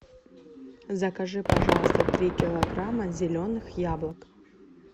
закажи пожалуйста три килограмма зеленых яблок